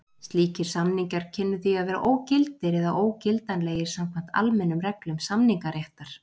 Slíkir samningar kynnu því að vera ógildir eða ógildanlegir samkvæmt almennum reglum samningaréttar.